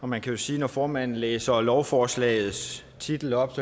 man kan jo sige at når formanden læser lovforslagets titel op